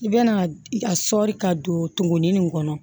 I bɛna a sɔɔri ka donni nin kɔnɔ